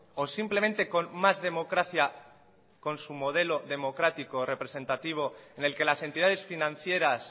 o simplemente con más democracia con su modelo democrático o representativo en el que las entidades financieras